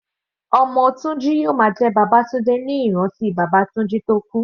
Ọmọ Tunji yóò máa jẹ́ Babatunde ní ìrántí bàbá Tunji tó kú.